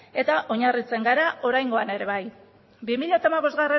eta oinarritzen gara oraingoan ere bai bi mila hamabostgarrena